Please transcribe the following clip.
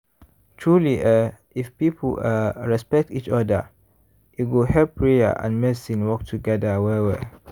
truely eeh if people ah respect each oda e go help prayer and medicine work togeda well well.